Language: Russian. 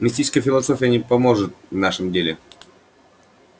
мистическая философия не поможет в нашем деле